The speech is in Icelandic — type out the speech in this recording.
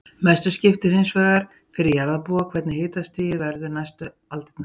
Mestu skiptir hins vegar fyrir jarðarbúa hvernig hitastig verður næstu aldirnar.